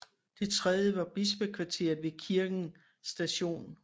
Det tredje var bispekvarteret ved kirken St